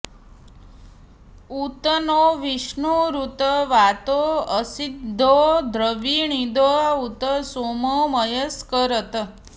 उ॒त नो॒ विष्णु॑रु॒त वातो॑ अ॒स्रिधो॑ द्रविणो॒दा उ॒त सोमो॒ मय॑स्करत्